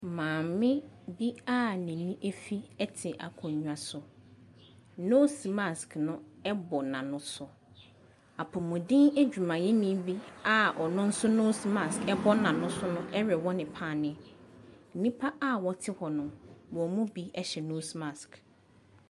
Maame bi a n'ani afi te akonnwa so. Nose mask no bɔ n'ano so. Apɔmuden adwumayɛni bi a ɔno nso nose mask bɔ n'ano so no rewɔ no paneɛ. Nnipa a wɔte hɔ no, wɔn mu bi hyɛ nose mask.